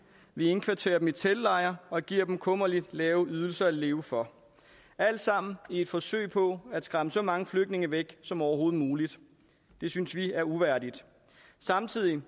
vi indkvarterer dem i teltlejre og giver dem kummerligt lave ydelser at leve for alt sammen i et forsøg på at skræmme så mange flygtninge væk som overhovedet muligt det synes vi er uværdigt samtidig